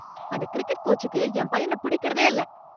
அந்தக் கிரிக்கெட் கோச்சுக்கு என் பையன பிடிக்கிறதே இல்ல.